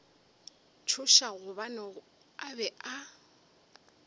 tšhoša gobane a be a